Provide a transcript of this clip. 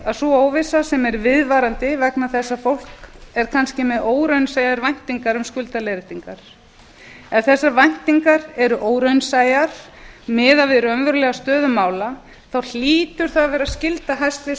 það er nefnilega þannig að þegar fólk er kannski með óraunsæjar væntingar með skuldaleiðréttingar ef þessar væntingar eruóraunsæjar miðað við raunverulega stöðu mála þá hlýtur það að vera skylda hæstvirts